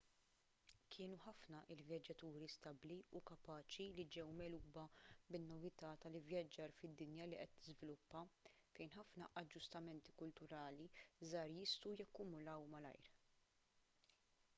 kienu ħafna l-vjaġġaturi stabbli u kapaċi li ġew megħluba bin-novità tal-ivvjaġġar fid-dinja li qed tiżviluppa fejn ħafna aġġustamenti kulturali żgħar jistgħu jakkumulaw malajr